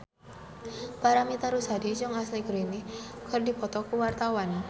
Paramitha Rusady jeung Ashley Greene keur dipoto ku wartawan